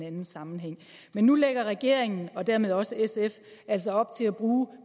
anden sammenhæng nu lægger regeringen og dermed også sf altså op til at bruge